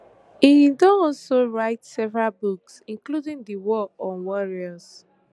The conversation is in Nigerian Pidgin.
im don also write several books including di war on warriors